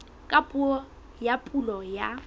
ka puo ya pulo ya